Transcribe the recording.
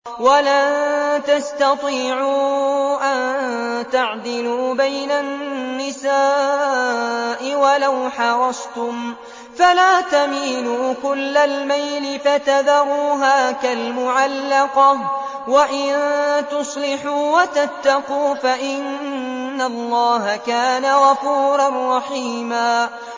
وَلَن تَسْتَطِيعُوا أَن تَعْدِلُوا بَيْنَ النِّسَاءِ وَلَوْ حَرَصْتُمْ ۖ فَلَا تَمِيلُوا كُلَّ الْمَيْلِ فَتَذَرُوهَا كَالْمُعَلَّقَةِ ۚ وَإِن تُصْلِحُوا وَتَتَّقُوا فَإِنَّ اللَّهَ كَانَ غَفُورًا رَّحِيمًا